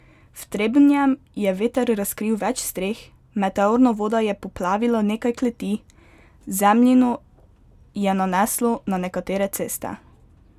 V Trebnjem je veter razkril več streh, meteorna voda je poplavila nekaj kleti, zemljino je naneslo na nekatere ceste.